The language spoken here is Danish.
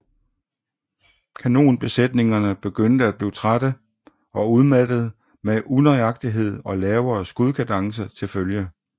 Kanonbesætningerne begyndte at blive trætte og udmattede med unøjagtighed og lavere skudkadence til følge